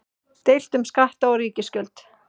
Deilt um skatta og ríkisútgjöld